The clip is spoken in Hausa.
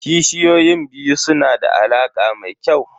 Kishiyoyin biyu su na da alaƙa mai kyau.